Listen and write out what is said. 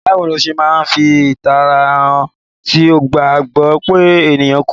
Bàwoni o se ma n fi ìtara han ti o ba gbọ pe enìkan kú?